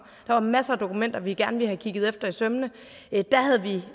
var masser af dokumenter vi gerne ville have kigget efter i sømmene det havde vi